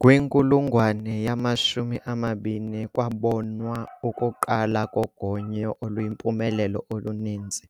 Kwinkulungwane yamashumi amabini kwabonwa ukuqalwa kogonyo oluyimpumelelo oluninzi,